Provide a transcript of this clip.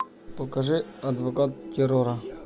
покажи адвокат террора